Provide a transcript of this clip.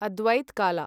अद्वैत काला